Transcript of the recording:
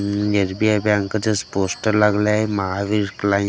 उम S B I बँकेचे poster लागलाय महावीर क्लाय--